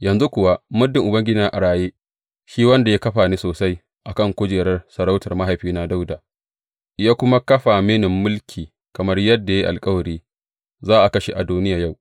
Yanzu kuwa, muddin Ubangiji yana a raye, shi wanda ya kafa ni sosai a kan kujerar sarautar mahaifina Dawuda, ya kuma kafa mini mulki kamar yadda ya yi alkawari; za a kashe Adoniya yau!